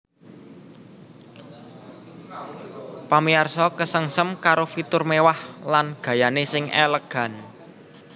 Pamiyarsa kesengsem karo fitur mewah lan gayané sing elegan